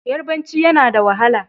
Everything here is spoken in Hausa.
Yabaranci yana da wahala.